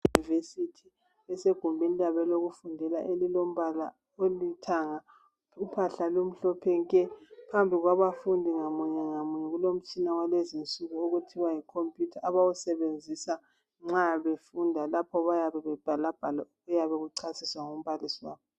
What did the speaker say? Abafundi basegumeni labo lokufundela lilombala olithanga uphahla lomhlophe nke phambili kwabafundi munye ngamunye kulomtshina walezinsuku okuthiwa yikhomputha abawusebenzisa nxa befunda lapho bayabe bebhalabhala okuyabe kuchasiswa ngumbalisi wabo.